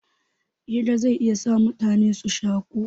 Hira zai iya sa mutane su shaku